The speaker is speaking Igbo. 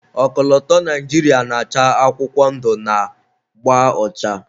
ọkọlọtọ Naijiria na-acha akwụkwọ ndụ na agba ọcha